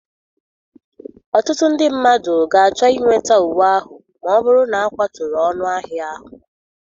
Ọtụtụ ndị mmadụ ga-achọ inweta uwe ahụ ma ọ bụrụ na akwaturu ọnụahịa ahụ.